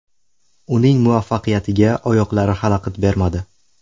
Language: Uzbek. Uning muvaffaqiyatiga oyoqlari xalaqit bermadi.